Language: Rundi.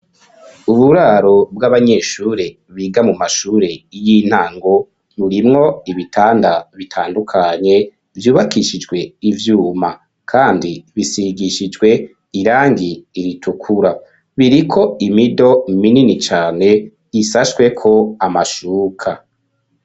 Uburaro bw'abanyeshure biga mu mashure y'intango burimwo ibitanda bitandukanye vyubakishijwe ivyuma, kandi bisigishijwe irangi iritukura, biriko imido minini cane ishashweko amashuka.